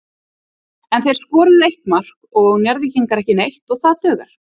En þeir skoruðu eitt mark og Njarðvíkingar ekki neitt og það dugar.